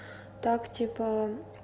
так типа